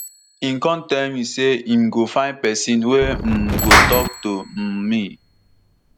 im kon tell me say im go find pesin wey um go tok to um me